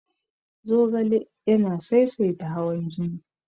Zogale yana saisaita hawan jini.